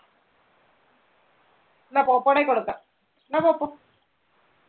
ഇന്നാ പോപ്പോയുടെ കൈയിൽ കൊടുക്കാം. ഇന്നാ പോപ്പോ.